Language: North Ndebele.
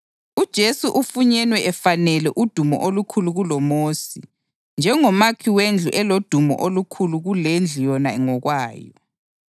UJesu ufunyenwe efanele udumo olukhulu kuloMosi njengomakhi wendlu elodumo olukhulu kulendlu yona ngokwayo.